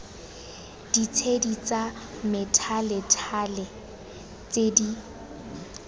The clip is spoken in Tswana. ditshedi tsa methalethale tse di